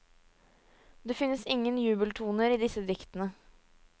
Det finnes ingen jubeltoner i disse diktene.